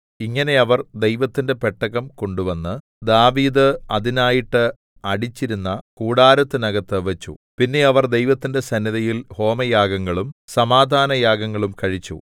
ഇങ്ങനെ അവർ ദൈവത്തിന്റെ പെട്ടകം കൊണ്ടുവന്ന് ദാവീദ് അതിനായിട്ട് അടിച്ചിരുന്ന കൂടാരത്തിനകത്ത് വെച്ചു പിന്നെ അവർ ദൈവത്തിന്റെ സന്നിധിയിൽ ഹോമയാഗങ്ങളും സമാധാനയാഗങ്ങളും കഴിച്ചു